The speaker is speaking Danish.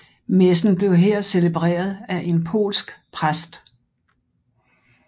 Messen blev her celebreret af en polsk præst